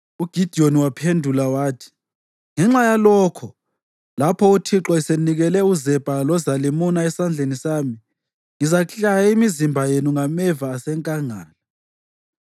UGidiyoni waphendula wathi, “Ngenxa yalokho, lapho uThixo esenikele uZebha loZalimuna esandleni sami, ngizaklaya imizimba yenu ngameva asenkangala.”